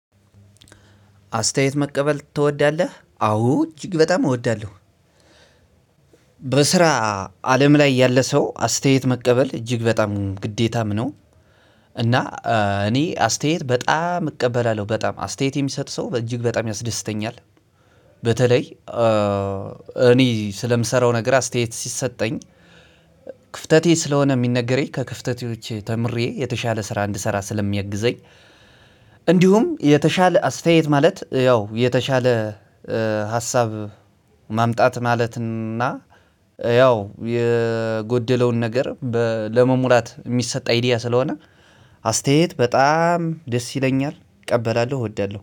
አስተያየት መቀበል ትወዳለህ አዎ እጅግ በጣም እወዳለሁ። በስራ አለም ላይ ያለ ሰው አስተያየት መቀበል እጅግ በጣም ግዴታም ነው። እና እኔ አስተያየት በጣም እቀበላለሁ በጣም አስተያየት የሚሰጥ ሰው እጅግ በጣም ያስደስተኛል። በተለይ እኔ ስለምሰራው ነገር አስተያየት ሲሰጠኝ ክፍተቴ ስለሆነ ሚነገረኝ ከክፍተቴ ተምሬ የተሻለ ስራ እንድሰራ ስለሚያግዘኝ። እንዲሁም የተሻለ አስተያየት ማለት ያው የተሻለ ሀሳብ ማምጣት ማለት እና ያው የጎደለውን ነገር ለመሙላት የሚሰጥ አይዲያ ስለሆነ። አስተያየት በጣም ደስ ይለኛል እቀበላለሁ እወዳለሁ